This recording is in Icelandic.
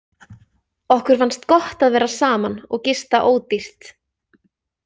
Okkur fannst gott að vera saman og gista ódýrt.